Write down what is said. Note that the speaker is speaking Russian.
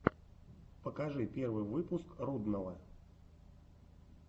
покажи первый выпуск рудного